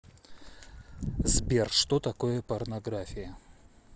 сбер что такое порнография